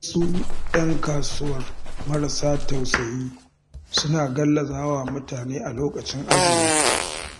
Wasu 'yan kasuwar marasa tausayi suna gallazawa mutane a lokacin azumi.